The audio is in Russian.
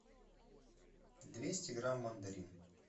двести грамм мандарин